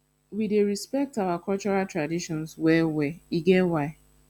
we dey respect our cultural traditions wellwell e get why